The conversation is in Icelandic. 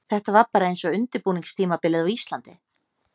Þetta var bara eins og undirbúningstímabilið á Íslandi.